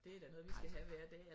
Altså